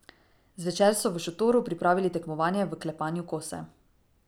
Zvečer so v šotoru pripravili tekmovanje v klepanju kose.